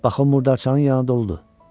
Bax o murdarçanın yanı doludur.